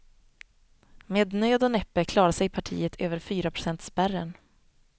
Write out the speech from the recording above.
Med nöd och näppe klarar sig partiet över fyraprocentspärren.